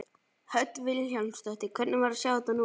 Hödd Vilhjálmsdóttir: Hvernig var að sjá þetta núna?